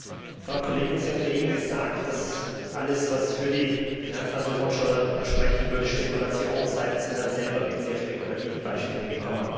Frau Kollegin, Sie haben soeben gesagt, dass alles, was für die Finanztransaktionssteuer sprechen würde, Spekulation sei, und sind dann selber mit sehr spekulativen Beispielen gekommen.